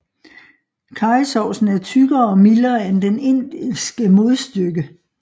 Karrysovsen er tykkere og mildere end dens indiske modstykke